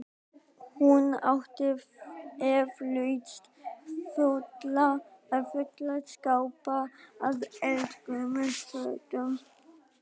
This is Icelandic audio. Hún átti eflaust fulla skápa af eldgömlum fötum.